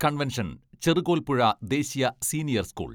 convention Cherukolpuzha ദേശീയ senior school